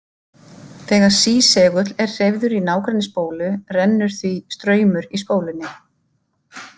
Þegar sísegull er hreyfður í nágrenni spólu rennur því straumur í spólunni.